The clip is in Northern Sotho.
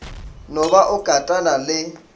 no ba o katana le